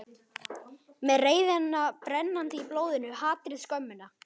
Með reiðina brennandi í blóðinu, hatrið, skömmina.